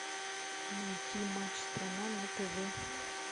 найти матч страна на тв